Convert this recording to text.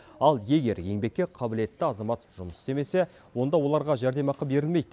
ал егер еңбекке қабілетті азамат жұмыс істемесе онда оларға жәрдемақы берілмейді